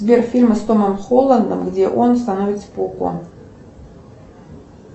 сбер фильм с томом холландом где он становится пауком